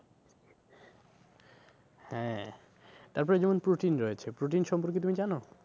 হ্যাঁ তারপরে যেমন protein রয়েছে, protein সম্পর্কে তুমি জানো?